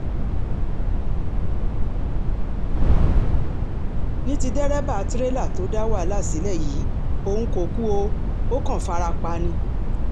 ní ti dẹ́rẹ́bà tirẹ̀là tó dá wàláhà sílẹ̀ yìí òun kò kú ó kàn fara pa ni